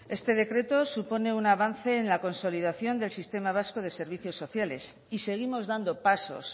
este decreto supone un avance en la consolidación del sistema vasco de servicios sociales y seguimos dando pasos